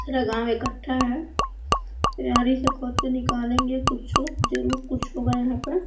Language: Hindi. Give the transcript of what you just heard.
पूरा गांव इकट्ठा है आरी से खोद के निकालेंगे कुछु जरूर कुछ होगा यहां पर।